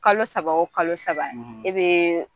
Kalo saba wo kalo saba e bɛ